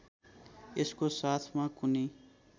यसको साथमा कुनै